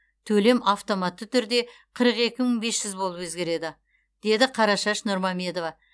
төлем автоматты түрде қырық екі мың бес жүз болып өзгереді деді қарашаш нұрмамедова